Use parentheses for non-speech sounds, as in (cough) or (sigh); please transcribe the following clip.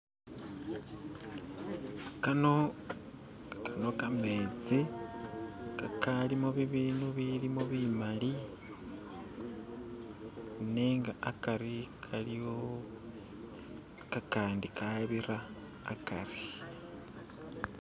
"(skip)" kano kano kametsi kakalimo bibindu bilimo bimali nenga akari kaliwo kakandi kabira akari.